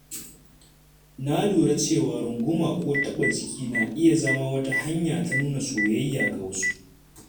Na lura cewa runguma ko taɓa jiki na iya zama wata hanya ta nuna soyayya ga wasu.